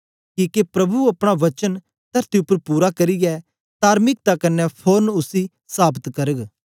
किके प्रभु अपना वचन तरती उपर पूरा करियै तार्मिकता कन्ने फोरन उसी साबत करग